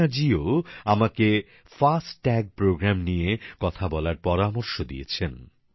অপর্ণা জীও আমাকে ফাস্ট্যাগ কর্মসূচী নিয়ে কথা বলার পরামর্শ দিয়েছেন